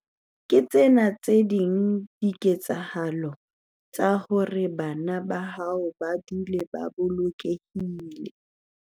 Ke tsena tse ding dikeletso tsa hore bana ba hao ba dule ba bolokehile.